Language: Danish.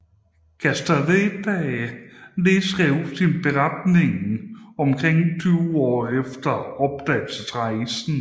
Castaneda nedskrev sin beretning omkring tyve år efter opdagelsesrejsen